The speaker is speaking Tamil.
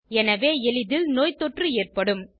எனவே எளிதில் நோய்த் தொற்று ஏற்படும்